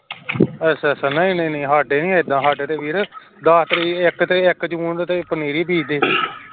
ਅੱਛਾ ਅੱਛਾ ਨਹੀਂ ਨਹੀਂ ਸਾਡੇ ਨਹੀਂ ਐਦਾਂ ਵੀਰ ਸਾਡੇ ਦੱਸ ਤਰੀਕ ਇਕ ਤੇ ਇਕ ਜੂਨ ਪਨੀਰੀ ਬੀਜਦੇ